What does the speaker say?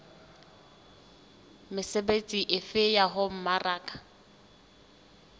mesebetsi efe ya ho mmaraka